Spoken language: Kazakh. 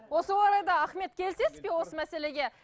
осы орайда ахмет келісесіз бе осы мәселеге